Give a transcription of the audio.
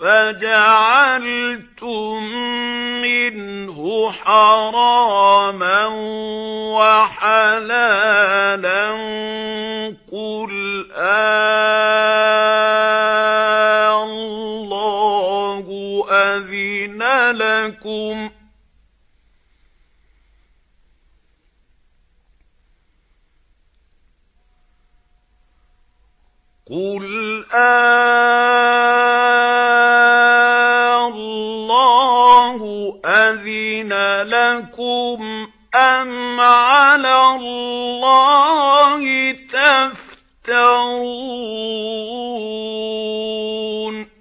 فَجَعَلْتُم مِّنْهُ حَرَامًا وَحَلَالًا قُلْ آللَّهُ أَذِنَ لَكُمْ ۖ أَمْ عَلَى اللَّهِ تَفْتَرُونَ